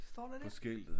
Står der det?